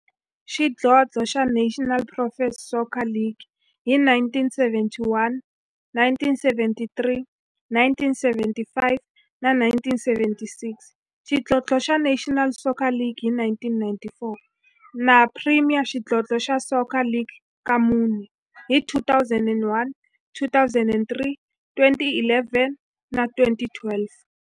xidlodlo xa National Professional Soccer League hi 1971, 1973, 1975 na 1976, xidlodlo xa National Soccer League hi 1994, na Premier Xidlodlo xa Soccer League ka mune, hi 2001, 2003, 2011 na 2012.